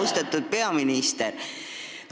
Austatud peaminister!